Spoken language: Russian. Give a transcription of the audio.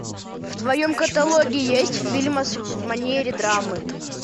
в твоем каталоге есть фильмас в манере драмы